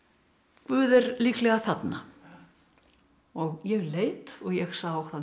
guð er líklega þarna og ég leit og ég sá